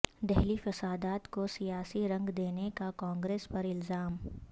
دہلی فسادات کو سیاسی رنگ دینے کا کانگریس پر الزام